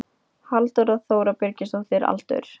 Halldóra Þóra Birgisdóttir Aldur?